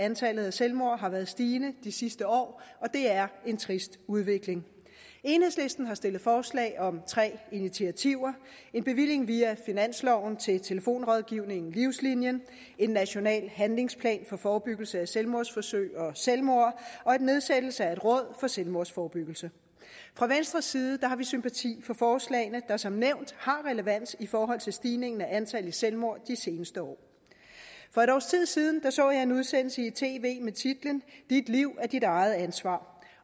at antallet af selvmord har været stigende de seneste år og det er en trist udvikling enhedslisten har stillet forslag om tre initiativer en bevilling via finansloven til telefonrådgivningen livslinien en national handlingsplan for forebyggelse af selvmordsforsøg og selvmord og nedsættelse af et råd for selvmordsforebyggelse fra venstres side har vi sympati for forslagene der som nævnt har relevans i forhold til stigningen i antallet af selvmord de seneste år for et års tid siden så jeg en udsendelse i tv med titlen dit liv er dit eget ansvar